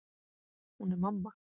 Hún er mamma.